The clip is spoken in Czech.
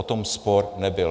O tom spor nebyl.